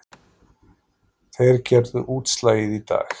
Þeir gerðu útslagið í dag